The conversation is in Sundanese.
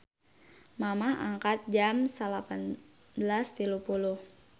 Mamah angkat jam 19.30